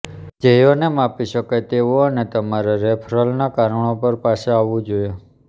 ધ્યેયોને માપી શકાય તેવું અને તમારા રેફરલના કારણો પર પાછા આવવું જોઈએ